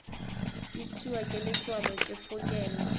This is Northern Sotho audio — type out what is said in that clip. itiwa ke letswalo ke fokelwa